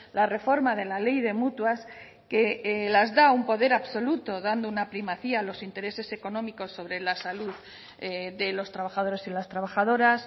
la reforma de la ley de mutuas que las da un poder absoluto dando una primacía a los intereses económicos sobre la salud de los trabajadores y las trabajadoras